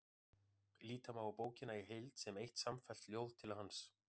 Líta má á bókina í heild sem eitt samfellt ljóð til hans.